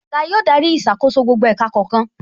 Oga yóò darí ìṣàkóso gbogbo ẹ̀ka kọ̀ọ̀kan